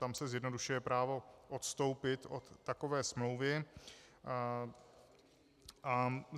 Tam se zjednodušuje právo odstoupit od takové smlouvy.